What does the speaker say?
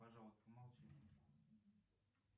пожалуйста помолчи